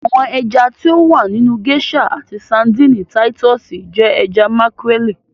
Àwọn ẹja ti o wà nínu geisha àti Sárḍíńí Títùsí jẹ ẹja makarẹli.